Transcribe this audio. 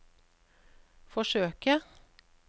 forsøke